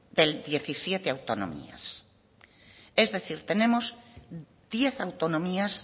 de las diecisiete autonomías es decir tenemos diez autonomías